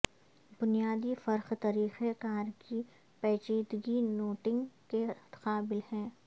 بنیادی فرق طریقہ کار کی پیچیدگی نوٹنگ کے قابل ہے